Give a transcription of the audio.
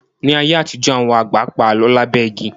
Ní ayé àtijọ́, àwọn àgbà pa Àlọ́ lábẹ́ igi